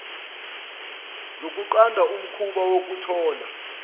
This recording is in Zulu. zokunqanda umkhuba wokuthola